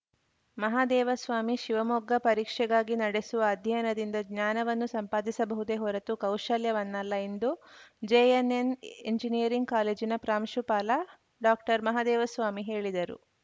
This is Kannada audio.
ಮಹಾದೇವಸ್ವಾಮಿ ಶಿವಮೊಗ್ಗ ಪರೀಕ್ಷೆಗಾಗಿ ನಡೆಸುವ ಅಧ್ಯಯನದಿಂದ ಜ್ಞಾನವನ್ನು ಸಂಪಾದಿಸಬಹುದೇ ಹೊರತು ಕೌಶಲ್ಯವನ್ನಲ್ಲ ಎಂದು ಜೆಎನ್‌ಎನ್‌ ಎಂಜಿನಿಯರಿಂಗ್‌ ಕಾಲೇಜಿನ ಪ್ರಾಂಶುಪಾಲ ಡಾಕ್ಟರ್ಮಹಾದೇವ ಸ್ವಾಮಿ ಹೇಳಿದರು